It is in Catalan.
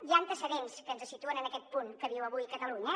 hi ha antecedents que ens situen en aquest punt que viu avui catalunya